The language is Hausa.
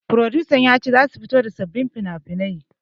Furodusan ya ce zasu fito da sababbin finafinai